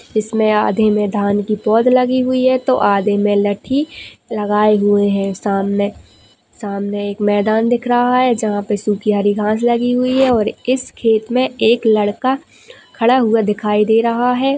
इसमें आधे में धान की पौध लगी हुई है तो आधे में लठी लगाएं हुए है सामने सामने एक मैदान दिख रहा है जहाँ पे सूखी हरी घास लगी हुई है और इस खेत में एक लडका खडा हुआ दिखाई दे रहा है।